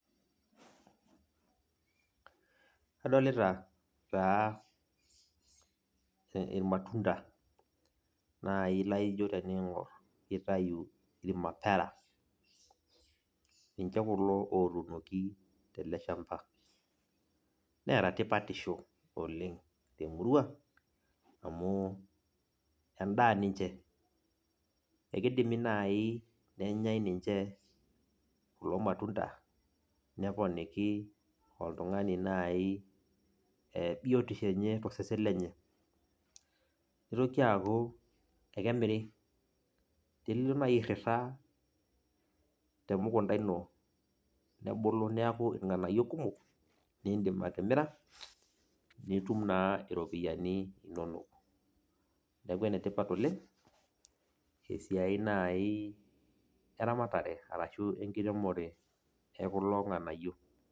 Adolita taa ilmatunda naai laijo teniingor kitayu ilmapera. Ninche kulo ootuunoki teleshamba, neeta tipatisho oleng' temurua, amuu endaa ninche. Ekeidimi naaji nenyai ninche kulo matunda, neponiki oltungani naai ee bietisho enye tosesen lenye. Nitoki aaku, ekemirri. Tenilo naai airrira teemukunda ino, nebulu neeku irnganayio kumok, niindim atimira, nitum naa iropiyani inonok. Neeku ene tipat oleng' esiai naai eramatare ashu enkiremore ekulo nganayio.